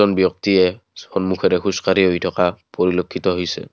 এজন ব্যক্তিয়ে সন্মুখেৰে খোজকাঢ়ি হৈ থকা পৰিলেক্ষিত হৈছে।